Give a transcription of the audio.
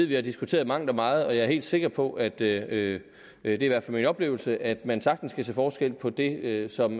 vi har diskuteret mangt og meget og jeg er helt sikker på det er i hvert fald min oplevelse at man sagtens kan se forskel på det som